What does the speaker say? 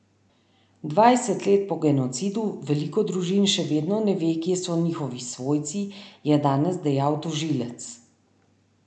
Dvajset let po genocidu veliko družin še vedno ne ve, kje so njihovi svojci, je danes dejal tožilec.